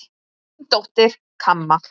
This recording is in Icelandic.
Þín dóttir, Kamma.